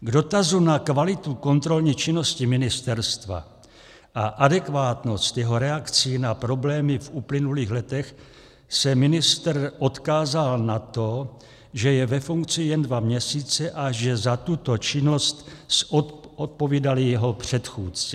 K dotazu na kvalitu kontrolní činnosti ministerstva a adekvátnost jeho reakcí na problémy v uplynulých letech se ministr odkázal na to, že je ve funkci jen dva měsíce a že za tuto činnost zodpovídali jeho předchůdci.